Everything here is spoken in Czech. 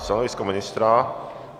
Stanovisko ministra?